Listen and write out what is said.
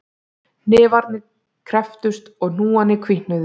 Hnefarnir krepptust og hnúarnir hvítnuðu